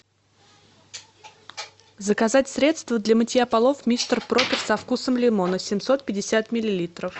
заказать средство для мытья полов мистер пропер со вкусом лимона семьсот пятьдесят миллилитров